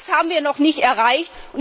Das haben wir noch nicht erreicht.